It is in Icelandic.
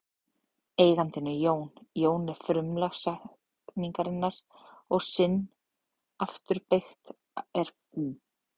Eigandinn er Jón, Jón er frumlag setningarinnar og sinn er afturbeygt eignarfornafn.